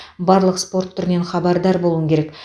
барлық спорт түрінен хабардар болуың керек